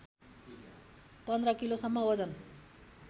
१५ किलोसम्म वजन